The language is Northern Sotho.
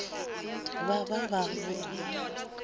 ba ba ba boa ba